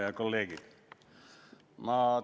Head kolleegid!